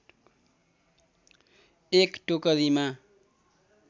एक टोकरीमा